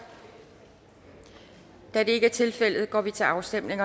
da det ikke er tilfældet går vi til afstemning